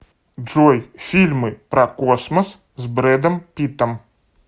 джой фильмы про космос с брэдом питтом